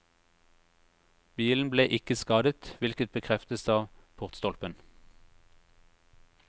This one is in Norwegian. Bilen ble ikke skadet, hvilket bekreftes av portstolpen.